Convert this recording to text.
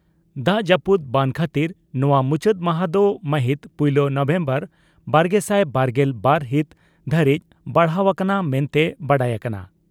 ᱫᱟᱜ ᱡᱟᱹᱯᱩᱫ ᱵᱟᱱ ᱠᱷᱟᱹᱛᱤᱨ ᱱᱚᱣᱟ ᱢᱩᱪᱟᱹᱫ ᱢᱟᱦᱟ ᱫᱚ ᱢᱟᱹᱦᱤᱛ ᱯᱩᱭᱞᱟᱹ ᱱᱚᱵᱷᱮᱢᱵᱚᱨ ᱵᱟᱨᱜᱮᱥᱟᱭ ᱵᱟᱨᱜᱮᱞ ᱵᱟᱨ ᱦᱤᱛ ᱫᱷᱟᱹᱨᱤᱡ ᱵᱟᱲᱦᱟᱣ ᱟᱠᱟᱱᱟ ᱢᱮᱱᱛᱮ ᱵᱟᱰᱟᱭ ᱟᱠᱟᱱᱟ ᱾